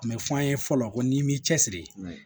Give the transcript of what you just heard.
A bɛ fɔ an ye fɔlɔ ko n'i m'i cɛsiri